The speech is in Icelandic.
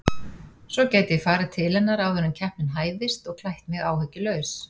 Svo gæti ég farið til hennar áður en keppnin hæfist og klætt mig áhyggjulaus.